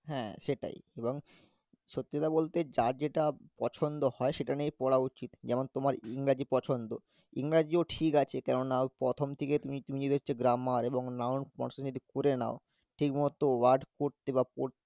হ্যাঁ সেটাই এবং সত্যি কথা বলতে যার যেটা পছন্দ হয় সেটা নিয়েই পড়া উচিত যেমন তোমার ইংরেজি পছন্দ ইংরেজি ও ঠিক আছে কেননা প্রথম থেকে তুমি তুমি যদি হচ্ছে grammar এবং noun যদি করে নাও ঠিকমতো word পড়তে বা পড়~